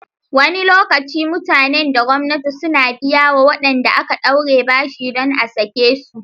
Wani lokaci mutane da gwamnatin suna biyawa waɗanda aka ɗaure bashi dan a sake su